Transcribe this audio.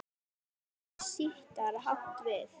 Orðið sítar átt við